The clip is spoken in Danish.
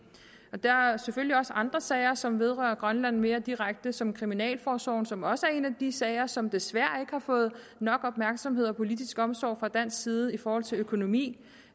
der er selvfølgelig også andre sager som vedrører grønland mere direkte som kriminalforsorgen som også er en af de sager som desværre ikke har fået nok opmærksomhed og politisk omsorg fra dansk side i forhold til økonomi